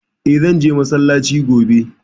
Eh, zan je massalaci gobe